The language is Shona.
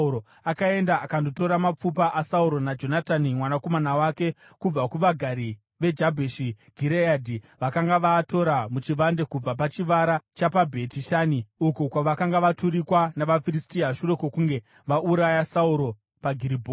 akaenda akandotora mapfupa aSauro naJonatani mwanakomana wake kubva kuvagari veJabheshi Gireadhi. Vakanga vaatora muchivande kubva pachivara chapaBheti Shani, uko kwavakanga vaturikwa navaFiristia shure kwokunge vauraya Sauro paGiribhoa.